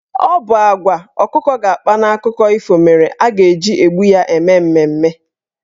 Ọ bụ agwa ọkụkọ ga-akpa n'akụkọ ifo mere a ga-eji egbu ya eme mmemme.